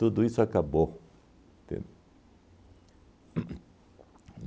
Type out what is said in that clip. Tudo isso acabou, entende? Uhn uhn